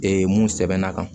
mun sɛbɛnna kan